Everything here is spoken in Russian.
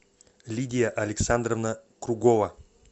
лидия александровна кругова